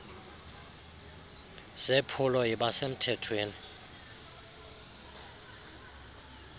zephulo yiba semthethweni